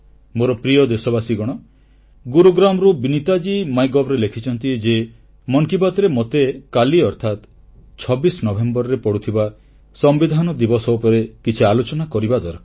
ମୋର ପ୍ରିୟ ଦେଶବାସୀଗଣ ଗୁରୁଗ୍ରାମରୁ ବିନୀତାଜୀ ମାଇଗଭ୍ ରେ ଲେଖିଛନ୍ତି ଯେ ମନ କି ବାତ୍ ରେ ମୋତେ କାଲି ଅର୍ଥାତ୍ 26 ନଭେମ୍ବରରେ ପଡୁଥିବା ସମ୍ବିଧାନ ଦିବସ ଉପରେ କିଛି ଆଲୋଚନା କରିବା ଦରକାର